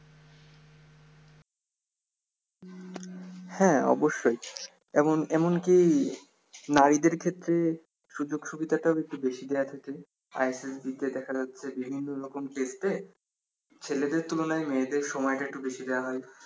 হ্যা অবশ্যই এবং এমনকি নারীদের ক্ষেত্রে সুযোগ সুবিধাটাও একটু বেশি দেয়া থাকে ISSB তে দেখা যাচ্ছে বিভিন্ন রকম ক্ষেত্রে ছেলেদের তুলনায় মেয়েদের সময় টা একটু বেশি দেয়া হয়